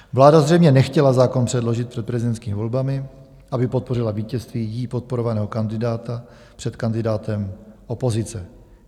Vláda zřejmě nechtěla zákon předložit před prezidentským volbami, aby podpořila vítězství jí podporovaného kandidáta před kandidátem opozice.